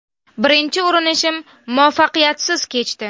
Birinchi urinishim muvaffaqiyatsiz kechdi.